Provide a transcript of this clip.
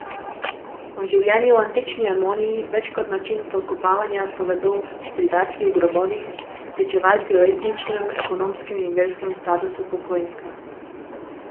O življenju v antični Emoni več kot način pokopavanja povedo pridatki v grobovih, pričevalci o etničnem, ekonomskem in verskem statusu pokojnika.